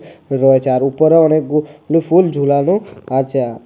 রয়েছে আর উপরে অনেক গুলু ফুল ঝোলানো আছে।